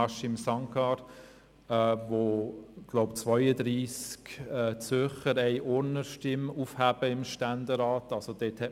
Haşim Sancar hat Uri erwähnt, wo, wie ich glaube, 32 Zürcher eine Urner Stimme im Ständerat aufheben.